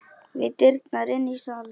Við dyrnar inn í salinn.